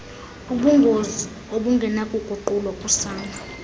ubungozi obungenakuguqulwa kusana